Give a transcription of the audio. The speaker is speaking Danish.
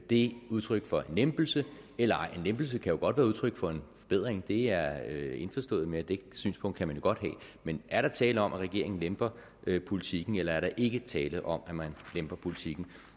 det udtryk for en lempelse eller ej en lempelse kan jo godt være udtryk for en forbedring det er jeg indforstået med det synspunkt kan man jo godt have men er der tale om at regeringen lemper politikken eller er der ikke tale om at man lemper politikken